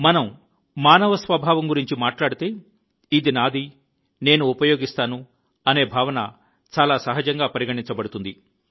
మనం మానవ స్వభావం గురించి మాట్లాడితే ఇది నాది నేను ఉపయోగిస్తాను అనే భావన చాలా సహజంగా పరిగణించబడుతుంది